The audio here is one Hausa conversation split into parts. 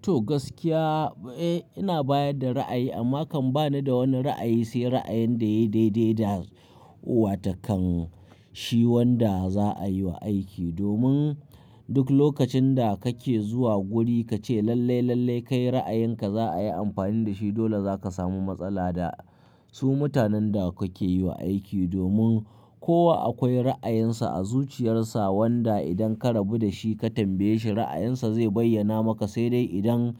To gaskiya, eh ina bayar da ra'ayi amma kan ba ni da wani ra'ayi sai ra'ayin da yayi daidai da wa takan shi wanda za'a yi wa aiki. Domin duk lokacin da kake zuwa guri kace lalle, lalle kai ra'ayinka za'a yi amfani da shi dole zaka samu matsala da su mutanen da kuke yiwa aiki. Domin kowa akwai ra'ayinsa a zuciyarsa wanda idan ka rabu da shi ka tambaye shi ra'ayinsa zai bayyana maka, sai dai idan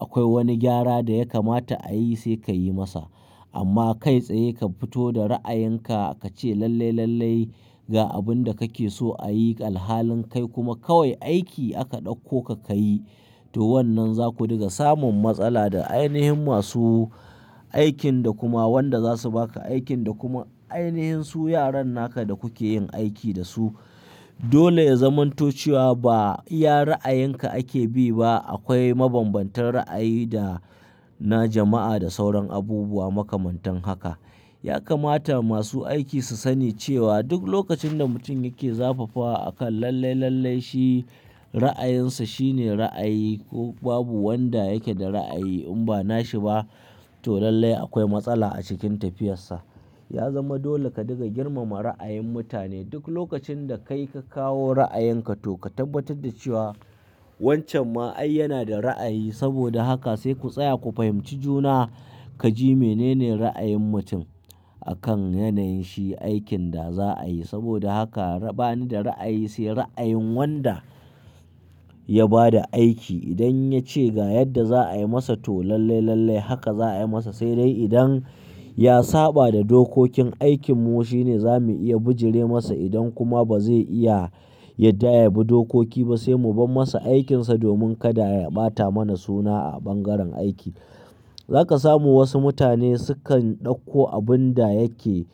akwai wani gyara da ya kamata a yi sai ka yi masa. Amma kai tsaye ka fito da ra'ayinka kace lalle, lalle ga abinda kake so a yi alhalin kai kuma kawai aiki aka ɗauko ka kayi, to wannan zaku daga samun matsala da ainihin masu aikin da kuma wanda zasu baka aikin da kuma ainihin su yaran naka da kuke yin aiki da su. Dole ya zamanto ciwa ba iya ra'ayinka ake bi ba. Akwai mabanbantan ra'ayi da na jama'a da sauran abubuwa makamantan haka. Ya kamata masu aiki su sani cewa duk lokacin da mutum yake zafafa akan lalle, lalle shi ra'ayinsa shine ra'ayi ko babu wanda yake da ra'ayi in ba na shi ba to lalle akwai matsala a cikin tafiyar sa. Ya zama dole ka daga girmama ra'ayin mutane duk lokacin da kai ka kawo ra'ayenka to ka tabbatar da cewa wancan ma'ai yana da ra'ayi. Saboda haka sai ku tsaya ku fahimci juna kaji mene ne ra'ayin mutum akan yanayin shi aikin da za'a yi. Saboda haka ba ni da ra'ayi sai ra'ayin wanda ya ba da aiki. Idan ya ce ga yadda za'a yi masa to lalle, lalle haka za'a yi masa sai dai idan ya saɓa da dokokin aikin mu shine zamu iya bijire masa. Idan kuma bazai iya yabi dukuki sai mubar masa aikinsa domin kada yabata mana suna a ban garen aiki Zaka samu wasu mutane sukan ɗauko abun da yake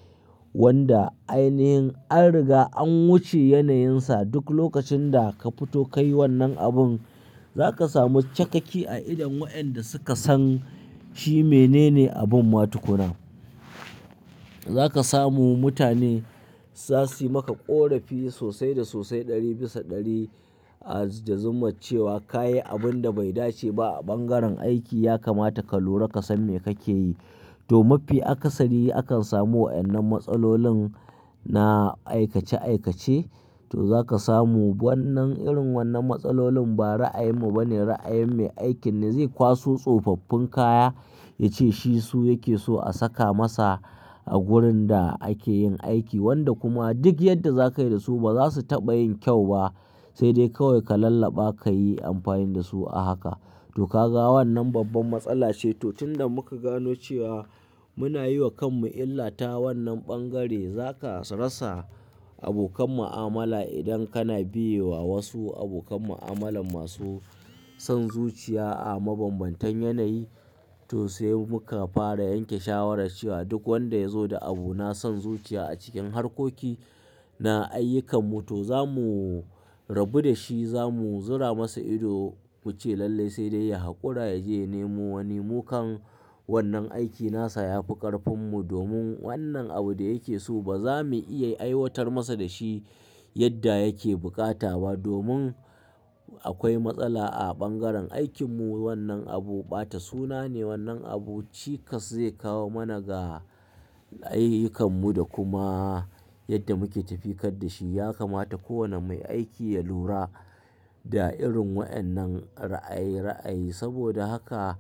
wanda ainihin an riga an wuce yanayinsa duk lokacin da ka fito ka yi wannan abun za ka samu cakaki a idon wa'yanda suka san shi mene ne abun matukuna. Zaka samu mutane za su yi maka ƙorafi sosai da sosai ɗari bisa ɗari da zuma cewa kayi abunda bai dace ba a bangaren aiki. Ya kamata ka lura ka san me kake yi. To mafi akasari akan samu wa'annan matsalolin na aikace aikace to zaka samu wannan irin wannan matsalolin ba ra'ayin mu bane, ra'ayin me aikin ne zai kwaso tsofaffin kaya ya ce shi su yake so a saka masa a gurin da ake yin aiki wanda kuma duk yadda zakayi da su ba za su taɓa yin kyau ba. Sai dai kawai ka lallaba ka yi amfani da su a haka. To ka ga wannan babban matsala ce to tun da muka gano cewa muna yi wa kanmu illata wannan bangare zaka rasa abokan mu'amala idan kana biye wa wasu abokan mu'amala masu son zuciya a mabanbantan yanayi to sai muka fara yanke shawara cewa duk wanda ya zo da abu na son zuciya a cikin harkoki na ayyukan mu to zamu rabu da shi zamu zura masa ido muce lalle sai dai ya haƙura yaje ya nemo wani. Mukan wannan aiki nasa ya fi ƙarfin mu domin wannan abu da yake so ba za mu iya aiwatar masa da shi yadda yake bukata ba. Domin akwai matsala a bangaren aikin mu wannan abu ɓata suna ne wannan abu cika zai kawo mana ga ayyukan mu da kuma yadda muke tafiyar da shi. Ya kamata kowane mai aiki ya lura da irin wa'annan ra'ayi, ra'ayi. Saboda haka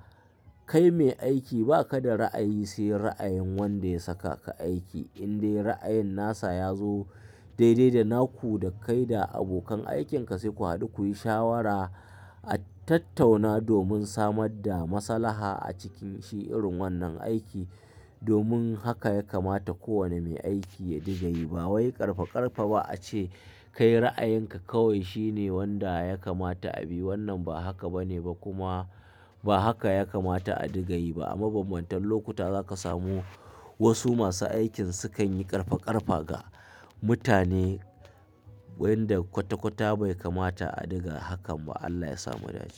kai mai aiki ba ka da ra'ayi sai ra'ayin wanda ya saka ka aiki. In dai ra'ayin nasa ya zo daidai da naku da kai da abokan aikin ka sai ku haɗu kuyi shawara a tattauna domin samar da maslaha a cikin shi irin wannan aiki. Domin haka ya kamata kowane mai aiki ya diga yi ba wai ƙarfa ƙarfa ba ace kai ra'ayinka kawai shine wanda ya kamata a bi. Wannan ba haka bane ba kuma ba haka ya kamata a diga yi ba. A mabanbantan lokuta za ka samu wasu masu aikin sukan yi ƙarfa ƙarfa ga mutane wanda kwata kwata bai kamata a diga hakan ba. Allah ya samu ya dace.